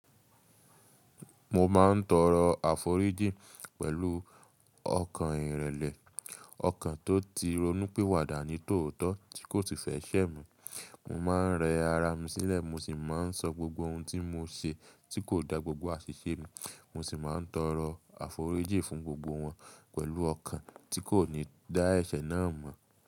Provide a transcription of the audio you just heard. Mo ma ń toro aforiji pẹ̀lú ọkàn ìrẹlẹ̀, ọkàn tó ti ronú pé wàdàní tòótọ́ tí kò sì fẹ́ ṣẹ̀ mi. Mo ma ń rẹ ara mi sílẹ̀, mo sì ma ń sọ gbogbo ohun tí mo ṣe tí kò dá gbogbo àṣiṣe mi, mo sì ma ń toro aforiji fún gbogbo wọn pẹ̀lú ọkàn tí kò ní dá ẹ̀ṣẹ̀ náà mọ̀.